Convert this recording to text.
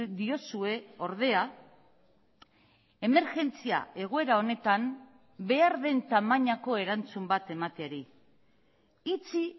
diozue ordea emergentzia egoera honetan behar den tamainako erantzun bat emateari itxi